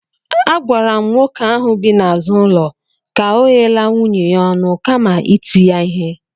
Agwara m nwoke ahụ bi n'azụ ụlọ ka ọ ghela nwunye ya ọnụ kama iti ya ihe